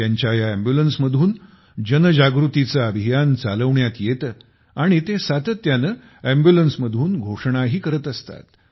त्यांच्या या अॅम्ब्युलन्समधून जन जागृतीचे अभियान चालवण्यात येते आणि ते सातत्याने अम्ब्युलन्समधून घोषणाही करत असतात